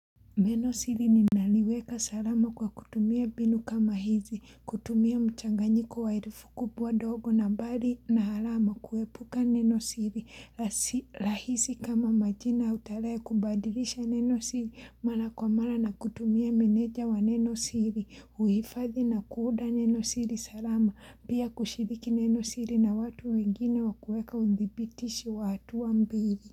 Neno siri ni naliweka salama kwa kutumia binu kama hizi, kutumia mchanganyiko wa herufi kubwa dogo na nambari na alama, kuepuka neno siri, lahisi kama majina au tarehe kubadilisha neno siri, mara kwa mara na kutumia meneja wa neno siri, huifadhi na kuunda neno siri salama, pia kushiriki neno siri na watu wengine wakuweka udibitishi wa hatua mbili.